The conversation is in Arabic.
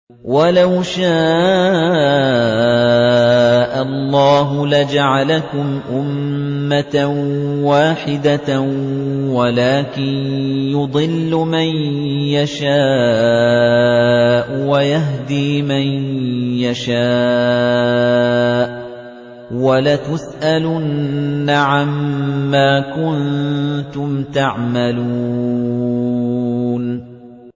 وَلَوْ شَاءَ اللَّهُ لَجَعَلَكُمْ أُمَّةً وَاحِدَةً وَلَٰكِن يُضِلُّ مَن يَشَاءُ وَيَهْدِي مَن يَشَاءُ ۚ وَلَتُسْأَلُنَّ عَمَّا كُنتُمْ تَعْمَلُونَ